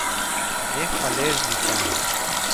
Nehvaležnica!